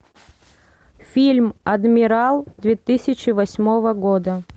фильм адмирал две тысячи восьмого года